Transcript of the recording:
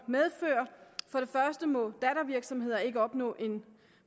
medfører for det første må dattervirksomheder ikke opnå en